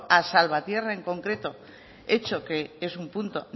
a salvatierra en concreto hecho que es un punto